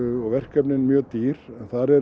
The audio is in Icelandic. og verkefnin mjög dýr